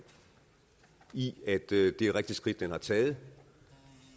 i at det er et rigtigt skridt den har taget og